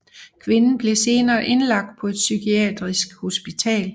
Kvinden blev senere indlagt på et psykiatrisk hospital